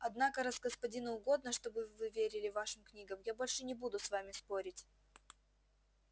однако раз господину угодно чтобы вы верили вашим книгам я больше не буду с вами спорить